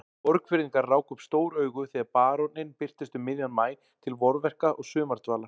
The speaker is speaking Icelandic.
Borgfirðingar ráku upp stór augu þegar baróninn birtist um miðjan maí til vorverka og sumardvalar.